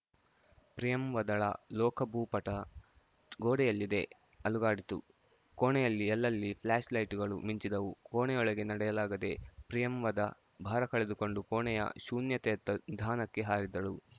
ಪ್ರಿಯಂವದಳ ಲೋಕಭೂಪಠ ಗೋಡೆಯಲ್ಲಿದ್ದೇ ಅಲುಗಾಡಿತು ಕೋಣೆಯಲ್ಲಿ ಅಲ್ಲಲ್ಲಿ ಫ್ಲಾಷ್‌ ಲೈಟುಗಳು ಮಿಂಚಿದವು ಕೋಣೆಯೊಳಗೆ ನಡೆಯಲಾಗದೆ ಪ್ರಿಯಂವದ ಭಾರ ಕಳೆದುಕೊಂಡು ಕೋಣೆಯ ಶೂನ್ಯತೆಯತ್ತ ನಿಧಾನಕ್ಕೆ ಹಾರಿದಳು